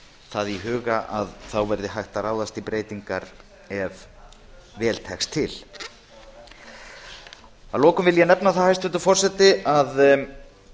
það í huga að þá verði hægt að ráðast í breytingar ef vel tekst til að lokum vil ég nefna það hæstvirtur forseti að